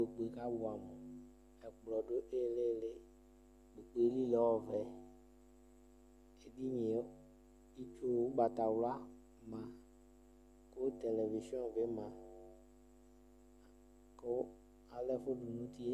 Kpoku yɛ kʋ abʋɛamʋ, ɛkplɔ dʋ ɩɩlɩ ɩɩlɩ Kpoku yɛ li lɛ ɔvɛ Edini yɛ, itsu ʋgbatawla ma kʋ televizɩɔ bɩ ma kʋ ala ɛfʋ dʋ nʋ uti yɛ